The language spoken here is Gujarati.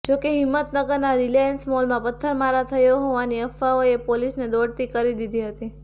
જો કે હિંમતનગરના રિલાયન્સ મોલમાં પથ્થરમારા થયો હોવાની અફવાઓએ પોલીસને દોડતી કરી દીધી હતી